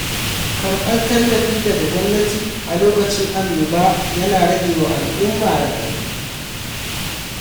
Karɓar tallafi daga gwamnati a lokacin annoba ya na ragewa al'umma raɗaɗi.